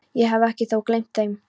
Ég hef þó ekki gleymt þeim!